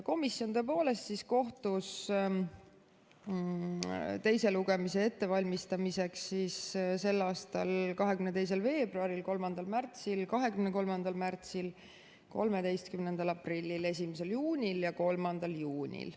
Komisjon kohtus teise lugemise ettevalmistamiseks selle aasta 22. veebruaril, 3. märtsil, 23. märtsil, 13. aprillil, 1. juunil ja 3. juunil.